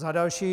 Za další.